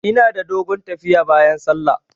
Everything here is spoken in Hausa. Ina da dogon tafiya bayan sallah.